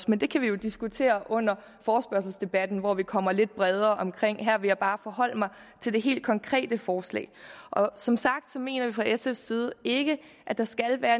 men det kan vi jo diskutere under forespørgselsdebatten hvor vi kommer lidt bredere omkring her vil jeg bare forholde mig til det helt konkrete forslag som sagt mener vi fra sfs side ikke at der skal være